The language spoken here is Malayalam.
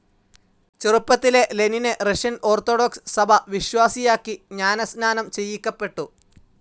ചെറുപ്പത്തിലേ ലെനിനെ റഷ്യൻ ഓർത്തഡോക്സ്‌ സഭാ വിശ്വാസിയാക്കി ജ്ഞാനസ്നാനം ചെയ്യിക്കപ്പെട്ടു.